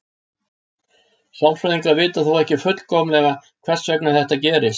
Sálfræðingar vita þó ekki fullkomlega hvers vegna þetta gerist.